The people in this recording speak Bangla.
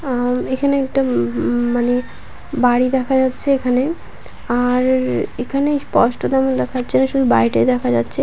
অ্যাম এখানে একটা উম-ম মানে বাড়ি দেখা যাচ্ছে এখানে আ-র-র-র এখানে স্পষ্ট তেমন দেখা যাচ্ছে না শুধু বাড়িটাই দেখা যাচ্ছে।